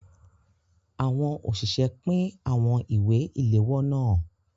Àwọn òṣìṣẹ́ pín àwọn ìwé ìléwọ́ náà.